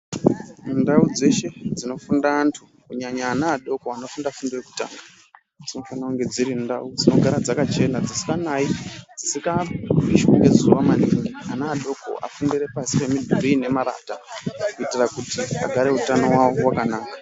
Mundau dzeshe dzinofunda antu kunyanya ana adoko anofunda fundo yekutanga. Dzinofana kunge dziri ndau dzinogara dzakachena dzisikanai dzisika pishwi ngezuva maningi. Ana adoko afundire pasi pemidhuri inemarata kuitira kuti agare utano hwavo hwakanaka.